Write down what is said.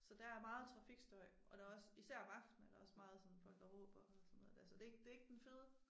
Så der er meget trafikstøj og der også især om aftenen også meget sådan folk der råber og sådan noget altså det ikke det ikke den fede